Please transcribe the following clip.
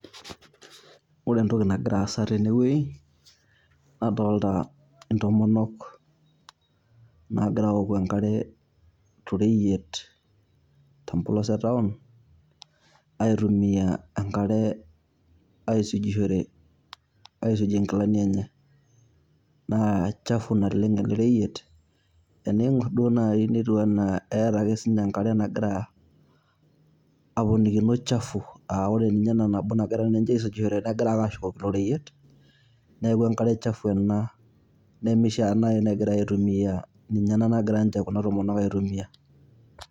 Ore entoki nagira aasa tenewei, nadolta intomonok nagira aoku enkare toreyiet tempolos etaon, aitumia enkare aisujushore aisuje nkilani enye. Naa chafu naleng' ele reyiet, tening'or duo nai netiu enaa eeta ake sinche enkare nagira aponikino chafu. Ah ore ninye ena nabo nagira ninche aisujishore, negira ake ashukokino oreyiet, neeku enkare chafu ena nemishaa nai negirai aitumia, ninye ena nagira nche kuna tomonok aitumia.